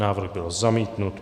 Návrh byl zamítnut.